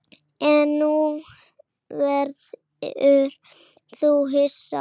En nú verður þú hissa!